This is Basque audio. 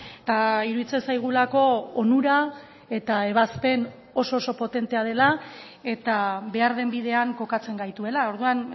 eta iruditzen zaigulako onura eta ebazpen oso oso potentea dela eta behar den bidean kokatzen gaituela orduan